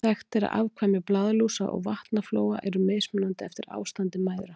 Þekkt er að afkvæmi blaðlúsa og vatnaflóa eru mismunandi eftir ástandi mæðra.